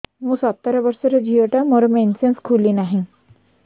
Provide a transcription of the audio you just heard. ମୁ ସତର ବର୍ଷର ଝିଅ ଟା ମୋର ମେନ୍ସେସ ଖୁଲି ନାହିଁ